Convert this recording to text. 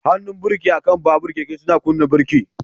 Hannun birki akan babur/keke suna kunna birki.